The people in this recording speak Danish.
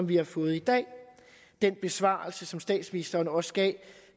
vi har fået i dag den besvarelse som statsministeren også gav